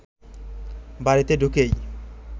বাড়িতে ঢুকেই